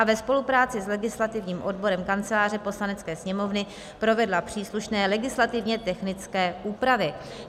b) ve spolupráci s legislativním odborem Kanceláře Poslanecké sněmovny provedla příslušné legislativně technické úpravy."